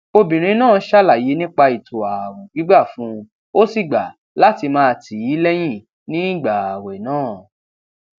obìnrin náà ṣàlàyé nípa ètò ààwè gbígbà fún un ó sì gbà láti máa tì í léyìn nígbà ààwè náà